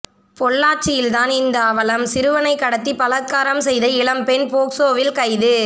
பொள்ளாச்சியில்தான் இந்த அவலம் சிறுவனை கடத்தி பலாத்காரம் செய்த இளம்பெண் போக்சோவில் கைது